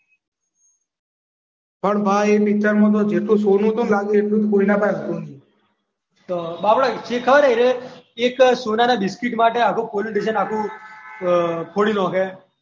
પણ એ તો પિક્ચરમાં જેટલું હોનું હતું ને એટલું હોનું તો કોઈના પાસે નહોતું તો ખબર છે એ રહ્યો એક સોનાના બિસ્કીટ માટે આખું પોલીસ સ્ટેશન આખુ ફોડી નાખે.